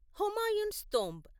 Humayun's tomb